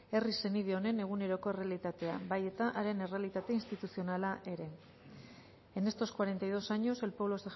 herri senide honen eguneroko errealitatea bai eta haren errealitate instituzionala ere en estos cuarenta y dos años el pueblo